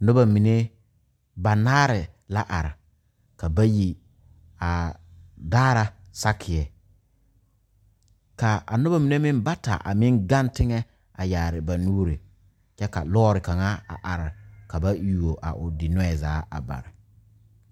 Noba mine banaare la are ka bayi a daara sakeyɛ ka a noba mine meŋ bata a meŋ gaŋ teŋɛ a meŋ yaare ba nuuri kyɛ ka lɔre kaŋa a are ka ba yuo o dinɔɛ zaa a bare.